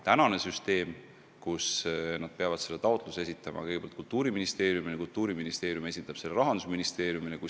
Praeguse süsteemi kohaselt nad peavad oma taotluse esitama kõigepealt Kultuuriministeeriumile ja Kultuuriministeerium esitab selle Rahandusministeeriumile.